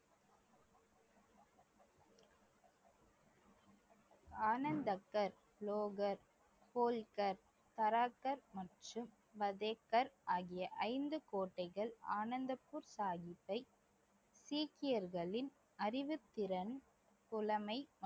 ஆனந்தக்கர், லோகர், போல்கர், கராத்தர் மற்றும் ஆகிய ஐந்து கோட்டைகள் ஆனந்தப்பூர் சாஹிப்பை சீக்கியர்களின் அறிவுத்திறன் புலமை